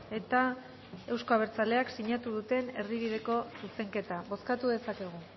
eta euzko abertzaleak sinatu duten erdibideko zuzenketa bozkatu dezakegu